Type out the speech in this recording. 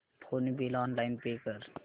phone bill online pay कर